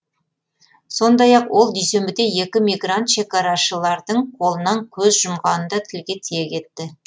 сондай ақ ол дүйсенбіде екі мигрант шекарашылардың қолынан көз жұмғанын да тілге тиек етті